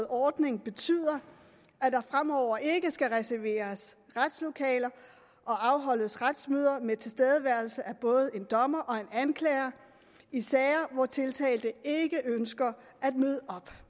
ordning betyder at der fremover ikke skal reserveres retslokaler og afholdes retsmøder med tilstedeværelse af både en dommer og en anklager i sager hvor tiltalte ikke ønsker at møde op